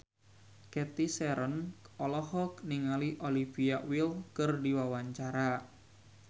Cathy Sharon olohok ningali Olivia Wilde keur diwawancara